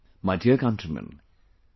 My dear countrymen,